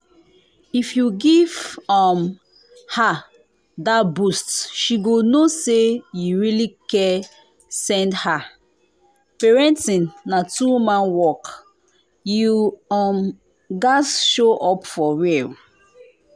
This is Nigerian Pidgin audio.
if you give um her that boost she go know say you really care send her. parenting na two-man work you um gats show up for real.